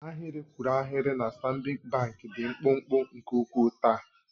Ahịrị kwụ n'ahịrị na Stanbic IBTC dị mkpụmkpụ nke ukwuu taa.